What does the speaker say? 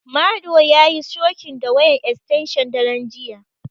Madu yayi shokin da wayar estenshin daren jiya.